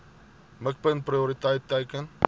mikpunt prioriteit teiken